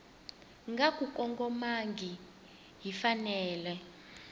nga ku kongomangihi yi fanele